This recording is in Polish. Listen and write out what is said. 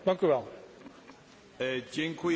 Dziękuję bardzo za tę uwagę.